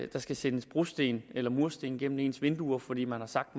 der skal sendes brosten eller mursten gennem ens vinduer fordi man har sagt